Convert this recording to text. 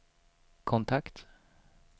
kontakt